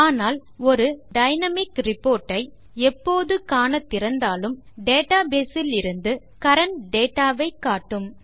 ஆனால் ஒரு dynamic report ஐ எப்போது காண திறந்தாலும் டேட்டாபேஸ் இலிருந்து கரண்ட் டேட்டா ஐ காட்டும்